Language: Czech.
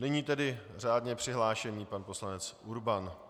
Nyní tedy řádně přihlášený pan poslanec Urban.